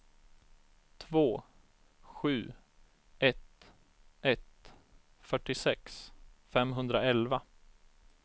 två sju ett ett fyrtiosex femhundraelva